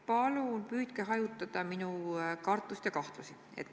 Palun püüdke hajutada minu kartust ja kahtlusi.